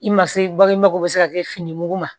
I ma se bakinba ko bɛ se ka kɛ fini mugu ma